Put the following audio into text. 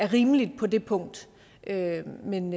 rimeligt på det punkt men